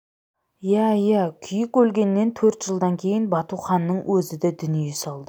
иә иә күйік өлгеннен төрт жылдан кейін батуханның өзі де дүние салды